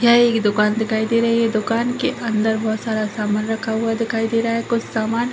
ये दुकान दिखाई दे रही है दुकान के अंदर बहुत सारा सामान रखा हुआ दिखाई दे रहा है कुछ सामान --